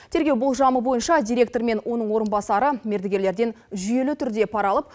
тергеу болжамы бойынша директор мен оның орынбасары мердігерлерден жүйелі түрде пара алып